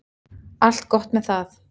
Allt gott með það.